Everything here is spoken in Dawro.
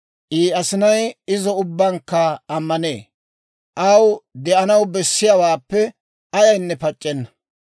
I asinay izo ubbabankka ammanee; aw de'anaw bessiyaawaappe ayaynne pac'c'enna.